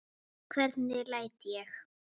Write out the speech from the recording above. Hvernig læt ég!